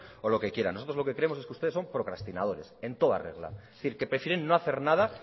o lo que quieran nosotros lo que creemos es que ustedes son procrastinadores en toda regla es decir que prefieren no hacer nada